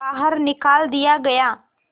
बाहर निकाल दिया गया